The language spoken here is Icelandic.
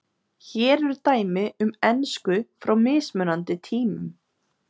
Hér eru dæmi um ensku frá mismunandi tímum.